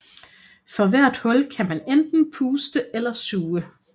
For hvert hul kan man enten puste eller suge